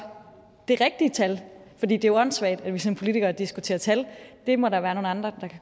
det rigtige tal for det er jo åndssvagt at vi som politikere diskuterer tal det må der være nogle andre